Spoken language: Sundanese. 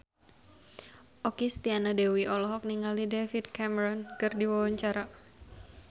Okky Setiana Dewi olohok ningali David Cameron keur diwawancara